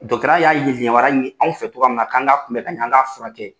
Dɔtɔrɔya y'a ye yamaruya ye aw fɛ cogoya min na k'an ka kun bɛ ka ɲɛ an ka furakɛ.